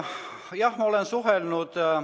Jah, ma olen suhelnud.